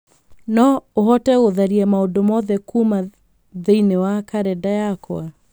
no ũhote gũtharia maũndũ mothe kuuma thĩinĩ wa kalendarĩ yakwa